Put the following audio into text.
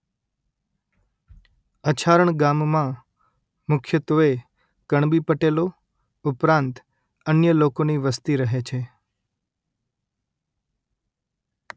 અછારણ ગામમાં મુખ્યત્વે કણબી પટેલો ઉપરાંત અન્ય લોકોની વસ્તી રહે છે